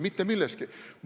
Mitte milleski.